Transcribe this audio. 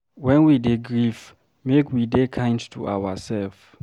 When we dey grief make we dey kind to ourself